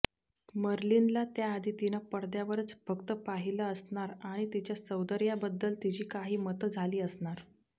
मर्लिनला त्याआधी तिनं पडद्यावरच फक्त पाहिलं असणार आणि तिच्या सौंदर्याबद्दल तिची काही मतं झाली असणार